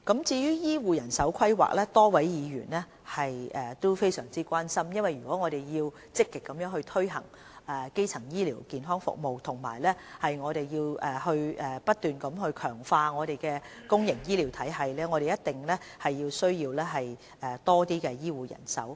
至於醫護人手規劃，多位議員都非常關心，因為如果我們要積極推行基層醫療健康服務，並不斷強化我們的公營醫療體系，我們一定需要更多醫護人手。